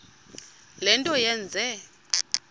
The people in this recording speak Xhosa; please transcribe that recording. le nto yenze